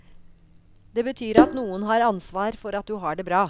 Det betyr at noen har ansvar for at du har det bra.